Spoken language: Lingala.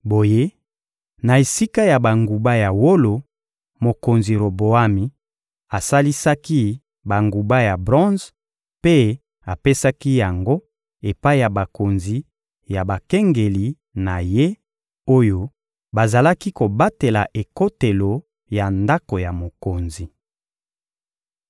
Boye, na esika ya banguba ya wolo, mokonzi Roboami asalisaki banguba ya bronze mpe apesaki yango epai ya bakonzi ya bakengeli na ye, oyo bazalaki kobatela ekotelo ya ndako ya mokonzi.